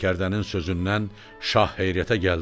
Sərkərdənin sözündən şah heyrətə gəldi.